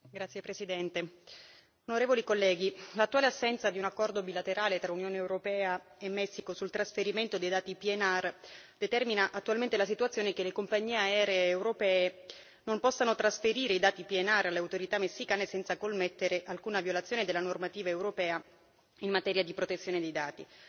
Signor Presidente, onorevoli colleghi, l'attuale assenza di un accordo bilaterale tra Unione europea e Messico sul trasferimento dei dati PNR determina attualmente la situazione che le compagnie aeree europee non possono trasferire i dati PNR alle autorità messicane senza commettere alcuna violazione della normativa europea in materia di protezione dei dati.